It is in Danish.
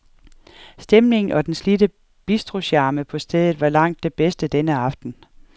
Stemningen og den slidte bistrocharme på stedet var langt det bedste denne aften.